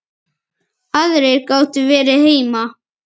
Aðrir gátu verið heima.